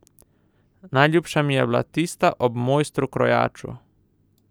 Najljubša mi je bila tista o mojstru krojaču.